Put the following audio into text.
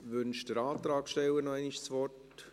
Wünscht der Antragssteller noch einmal das Wort?